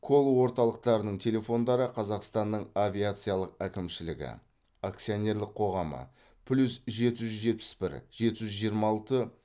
колл орталықтардың телефондары қазақстанның авиациялық әкімшілігі акционерлік қоғамы плюс жеті жүз жетпіс бір жеті жүз жиырма алты